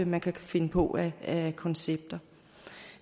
man kan finde på af koncepter